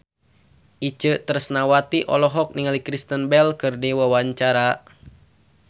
Itje Tresnawati olohok ningali Kristen Bell keur diwawancara